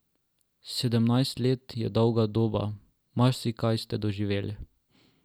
Sedemnajst let je dolga doba, marsikaj ste doživeli.